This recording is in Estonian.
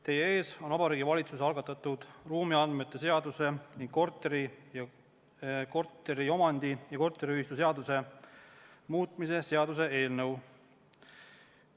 Teie ees on Vabariigi Valitsuse algatatud ruumiandmete seaduse ning korteriomandi- ja korteriühistuseaduse muutmise seaduse eelnõu.